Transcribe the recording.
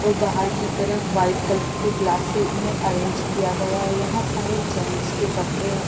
और बाहर की तरफ वाइट कलर के ग्लास से इन्हें अरेंज किया गया है यहां सारे जेंट्स के कपड़े हैं।